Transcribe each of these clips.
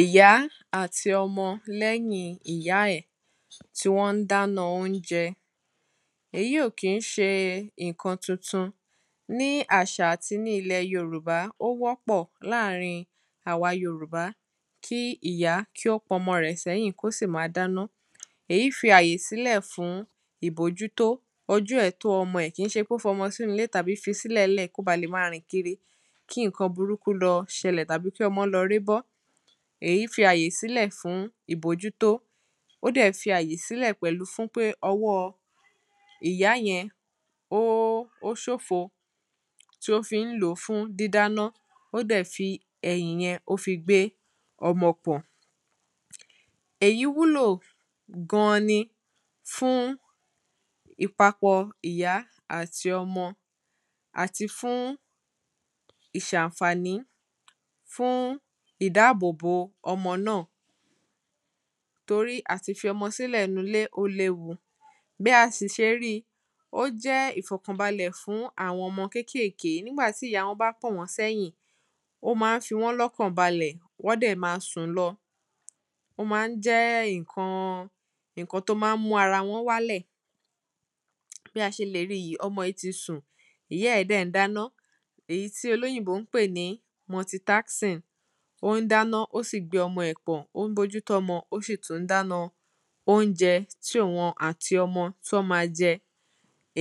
Ìyá àti ọmọ lẹ́yìn ìyá ẹ̀ tí wọ́n ń dáná óúnjẹ Èyí ò kí ń ṣe nǹkan tuntun Ní àṣà àti ní ilẹ̀ Yorùbá ó wọ́pọ̀ láàrín àwa Yorùbá kí ìyá tí ó pọn ọmọ rẹ̀ sẹ́yìn kí ó sì máa dáná Èyí fi àyè sílẹ̀ fún ìbójútó ojú ẹ̀ tó ọmọ ẹ̀ kìí ṣe ń pé ó fi ọmọ sínú ilé tàbí fi sí ilẹ̀ńlẹ̀ kí ó ba lè máa rìn kiri kí nǹkan burúkú lọ ṣẹlẹ̀ tàbí kí ọmọ lọ ré bọ́ Èyí fi àyè sìlẹ̀ fún ìbójútó Ó dẹ̀ fi àyè sílẹ̀ pẹ̀lú fún pé ọwọ́ ìyá yẹn ó ṣófo tí ó fi ń lò ó fún dídáná ó dẹ̀ fi ẹ̀yìn yẹn ó fi gbé ọmọ pọ̀n Èyí wúlò gan-an ni fún ìpapọ̀ ìyá àti ọmọ àti fún ìṣàǹfàní fún ìdáàbò bò ọmọ náà Torí àti fi ọmọ sílẹ̀ nínú ilé ó léwu Bí a sì ṣe rí i ó jẹ́ ìfọ̀kànbalẹ̀ fún àwọn kékèèké nígbà tí ìyá wọn bá pọ̀n wọ́n sẹ́yìn ó ma ń fi wọ́n lọ́kàn balẹ̀ wọ́n dẹ̀ ma sùn lọ Ó ma ń jẹ́ nǹkan nǹkan tí ó ma ń mú ara wọn wálẹ Bí a ṣe lè rí yìí ọmọ yìí ti sùn ìyá ẹ̀ dẹ̀ ń dáná Èyí tí olóyìnbó ń pè ní multitasking Ó ń dáná ó sì gbé ọmọ ẹ̀ pọ̀n ó ń bójútó ọmọ ó sì tún dáná óúnjẹ tí òhun àti ọmọ tí wọ́n ma jẹ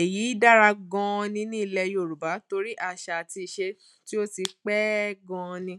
Èyí dára gan-an ni ní ilẹ̀ Yorùbá torí àṣà àti iṣe tí ó ti pẹ́ gan-an ni